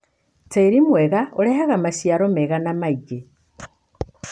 Tĩĩri mwega ũrehaga maciaro mega na maingĩ